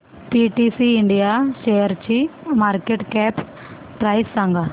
PTC India शेअरची market cap price सांगा